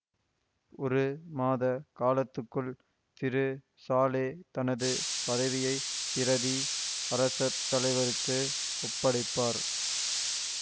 ஒரு மாத காலத்துக்குள் திரு சாலே தனது பதவியை பிரதி அரசத்தலைவருக்கு ஒப்படைப்பார்